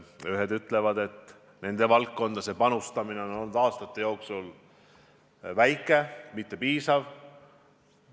Ühed ütlevad, et nende valdkonda panustamine on aastate jooksul olnud väike, ebapiisav.